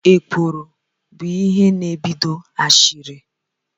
jealousy is the root cause of backbiting.